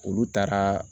Olu taara